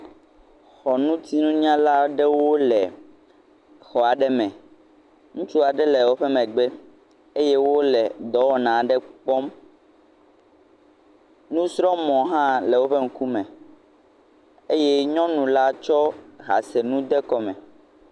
Xɔ ŋuti nunyala ɖewo le xɔa ɖe me, ŋutsua ɖe le.eƒe megbe eye wole dɔwɔ na ɖe kpɔm, nusrɔ mɔ hã le woƒe ŋukume, eye nyɔnula tsɔ ha se nu de kɔme.